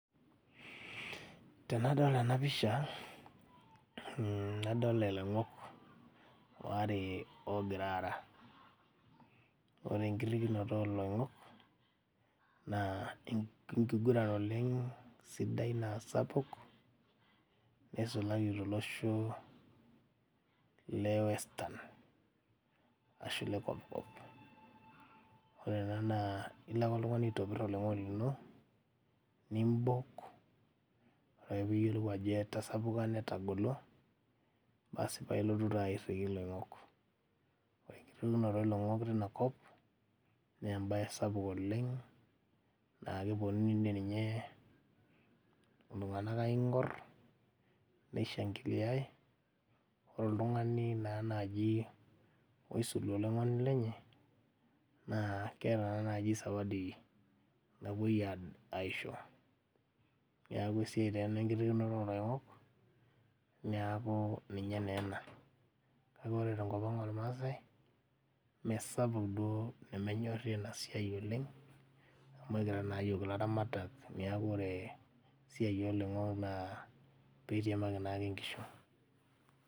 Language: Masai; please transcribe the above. Tenadol ena pisha mh nadol iloingok oare ogira aara ore enkirrikinoto oloing'ok naa enkiguran oleng sidai naa sapuk neisulaki tolosho le western ashu le kopkop ore ena naa ilo ake oltung'ani aitopirr oloing'oni lino nimbok ore ake piyiolou ajo etasapuka netagolo basi paa ilotu taa airriki iloing'ok ore enkirrikinoto oloing'ok teina kop nembaye sapuk oleng naa keponu dii ninye iltung'anak aing'orr neishangiliae ore oltung'ani naa naaji oisulu oloing'oni lenye naa keeta taa naaji zawadi napuoi ae aisho neku esiai taa ena enkirrikinoto oloing'ok niaku ninye naa ena kake ore tenkop ang ormaasae mesapuk duo nemenyorri ena siai duo oleng amu ekira naa yiok ilaramatak niaku ore esiai oloing'ok naa peitiamaki naake inkishu.